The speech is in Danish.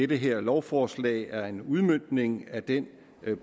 det her lovforslag er en udmøntning af den